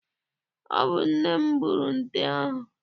Ọ bụ nne m gburu nte ahụ.